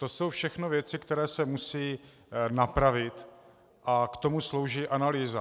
To jsou všechno věci, které se musí napravit, a k tomu slouží analýza.